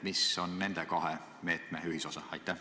Mis on nende kahe meetme ühisosa?